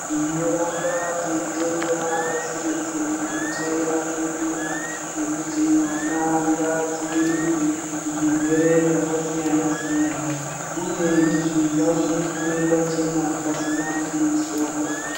Tinoramba teitenda pasi rese rinochayira bembera rekuti mwana ngaadzivirirwe kuzvirwere zvakasiyanasiyana uye izvi ngazviitwe pachena pasina muduso.